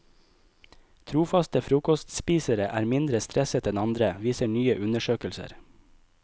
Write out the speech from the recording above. Trofaste frokostspisere er mindre stresset enn andre, viser nye undersøkelser.